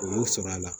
U y'o sɔrɔ a la